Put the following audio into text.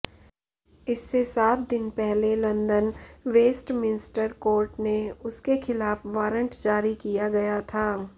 इससे सात दिन पहले लंदन वेस्टमिंस्टर कोर्ट ने उसके खिलाफ वारंट जारी किया गया था